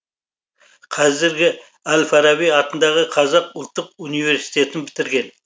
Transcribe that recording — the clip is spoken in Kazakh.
қазіргі әл фараби атындағы қазақ ұлттық университетін бітірген